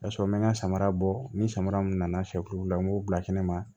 O y'a sɔrɔ n bɛ n ka samara bɔ ni samara min nana se kulu la n b'o bila kɛnɛ ma